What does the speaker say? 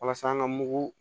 Walasa an ka mugu